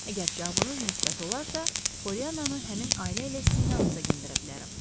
Əgər cavabınız müsbət olarsa, Polliyananı həmin ailə ilə sizin yanınıza göndərə bilərəm.